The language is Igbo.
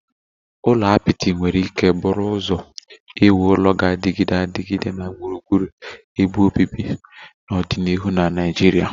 Ụlọ apịtị nwere ike bụrụ ụzọ iwu ụlọ ga-adịgide adịgide na gburugburu ebe obibi na ọdịnihu na Naijiria